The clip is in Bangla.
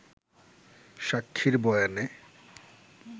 সাক্ষীর বয়ানে